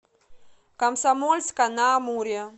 комсомольска на амуре